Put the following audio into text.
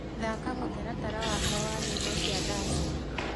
thaka mũtaratara wakwa wa nyĩmbo cia daci